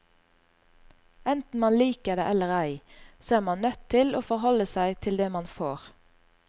Enten man liker det eller ei, så er man nødt til å forholde seg til det man får.